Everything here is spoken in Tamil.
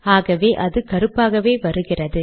ஆகவே அது கருப்பாகவே வருகிறது